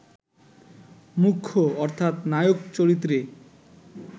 মুখ্য অর্থাৎ নায়ক চরিত্রে